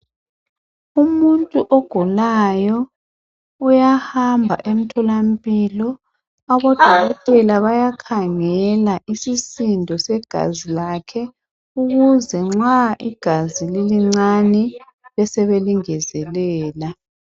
Umuntu ogulayo uyahamba eMtholampilo odokotela bayakhangela isisindo segazi lakhe ukuze nxa igazi lilincane besebelingezelela.